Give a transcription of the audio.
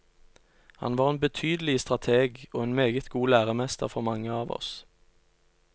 Han var en betydelig strateg, og en meget god læremester for mange av oss.